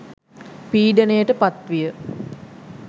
පීඩනයට පත් විය.